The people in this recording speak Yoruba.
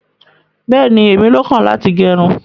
Bẹẹni, ẹmi ló kan láti gẹrún.